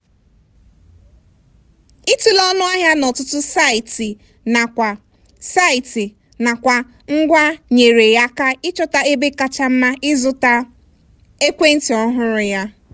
ịtụle ọnụ ahịa n'ọtụtụ saịtị nakwa saịtị nakwa ngwa nyeere ya aka ịchọta ebe kacha mma ịzụta ekwentị ọhụrụ ya.